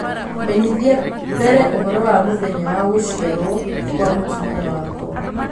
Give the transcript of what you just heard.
menyithia mbere ũhoro wa mũthenya wa gũciarwo kwa mũtumia wakwa